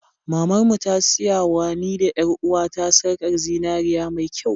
Mamar mu ta siyawa ni da ƴar'uwata sarkar zinariya mai kyau.